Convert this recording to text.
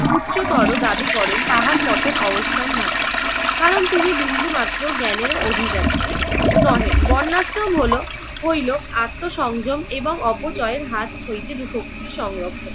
উচ্চতর দাবি করেন তাহার পতন অবসম্ভাবী। কারণ তিনি বিন্দুমাত্র জ্ঞানের অধিকারী নহে। বর্ণাশ্রম হলো হইলো আত্ম সংযম এবং অপচয়ের হাত হইতে শক্তির সংরক্ষণ।